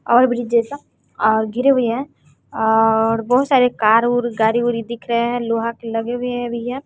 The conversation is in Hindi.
और मुझे जैसा और गिरे हुए है और बहोत सारे कार ओर गाड़ी उड़ी दिख रहे हैं लोहा के लगे हुए हैं भैया।